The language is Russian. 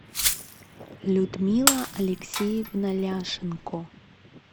людмила алексеевна ляшенко